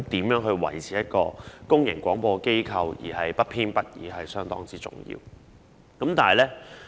如何維持一個公營廣播機構的不偏不倚方針是相當重要的。